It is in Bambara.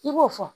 I b'o fɔ